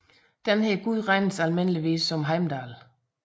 Denne gud regnes almindeligvis som Heimdall